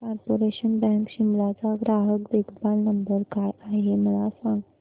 corporation bank Shimla चा ग्राहक देखभाल नंबर काय आहे मला सांग